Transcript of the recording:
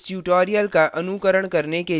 इस tutorial का अनुकरण करने के लिए आपको ज्ञात होना चाहिए